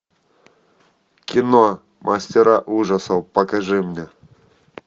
кино мастера ужасов покажи мне